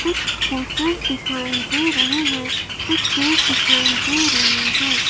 कुछ पोस्टर्स दिखाई दे रहे हैं कुछ पेड़ दिखाई दे रहे हैं।